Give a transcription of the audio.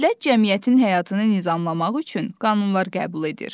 Dövlət cəmiyyətin həyatını nizamlamaq üçün qanunlar qəbul edir.